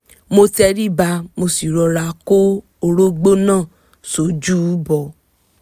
mo tẹríba mo sì rọra kó orógbó náà sójú bọ